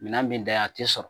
Minɛn bi ntanya a tɛ sɔrɔ